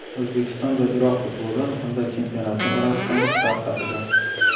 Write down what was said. O‘zbekiston va Iroq futboli hamda chempionati orasidagi farq haqida.